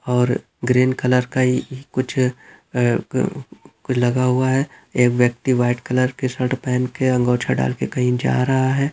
और green colour का ही कुछ अ अ लगा हुआ है। एक व्यक्ति व्हाइट कलर की शर्ट पहन के अँगोछा डाल के कहीं जा रहा है।